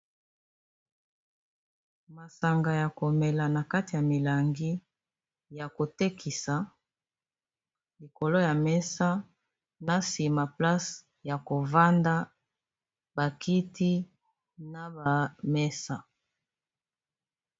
Masanga ya komela na kati ya milangi ya kotekisa likolo ya mesa na sima place ya kovanda bakiti na bamesa.